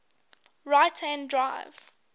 right hand drive